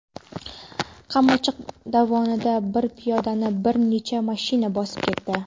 Qamchiq dovonida bir piyodani bir necha mashina bosib ketdi.